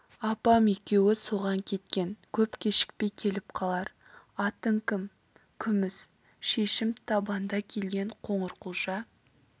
апам екеуі соған кеткен көп кешікпей келіп қалар атың кім күміс шешім табанда келген қоңырқұлжа